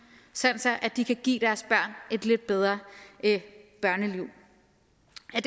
sådan at de kan give deres børn et lidt bedre børneliv